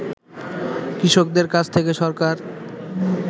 কৃষকদের কাছ থেকে সরকার